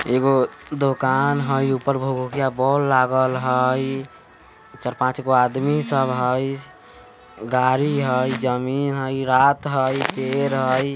एगो दुकान हई ऊपर भूकभुकिया बोल लागल हई चार-पाँच गो आदमी सब हई गाड़ी हई जमीन हई रात हई पेड़ हई ।